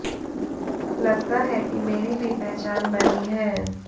लगता है कि मेरी भी पहचान बनी है